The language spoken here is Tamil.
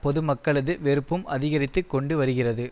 பொது மக்களது வெறுப்பும் அதிகரித்து கொண்டு வருகிறது